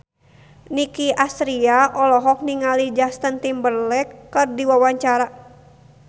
Nicky Astria olohok ningali Justin Timberlake keur diwawancara